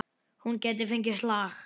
Hún gæti fengið slag.